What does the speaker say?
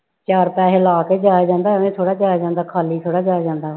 ਚਾਰ ਪੈਸੇ ਲਾ ਕੇ ਹੀ ਜਾਇਆ ਜਾਂਦਾ ਐਵੇਂ ਥੋੜ੍ਹਾ ਜਾਇਆ ਜਾਂਦਾ ਖਾਲੀ ਥੋੜ੍ਹਾ ਜਾਇਆ ਜਾਂਦਾ।